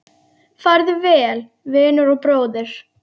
Farðu vel, vinur og bróðir!